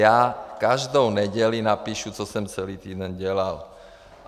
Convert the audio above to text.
Já každou neděli napíšu, co jsem celý týden dělal.